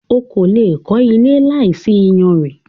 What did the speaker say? O kò le è kó ilé láìsí iyanrìn.